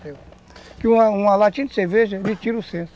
Porque uma uma latinha de cerveja, lhe tira o senso.